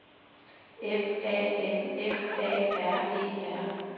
F A N F A R E R